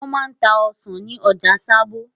Wọ́n máa ń ta ọsàn ní ọjà Sábó.